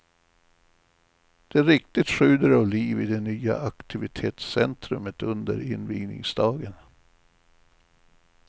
Det riktigt sjuder av liv i det nya aktivitetscentrumet under invigningsdagen.